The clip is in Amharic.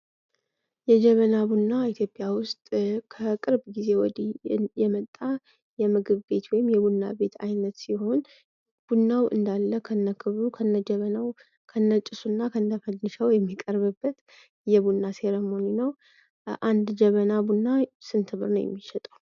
የጀበና ቡና ኢትዮጵያ ውስጥ ከቅርብ ጊዜ ወዲህ የመጣ የምግብ ቤት ወይም የቡና ቤት አይነት ሲሆን ቡናው እንዳለ ከነክብሩ ከነጀበናው ከነጭሱና ከነ ፈዲሻው የሚቀርብበት የቡና ሴርሞኒ ነው። አንድ ጀበና ቡና ስንት ብር ነው የሚሸጠው?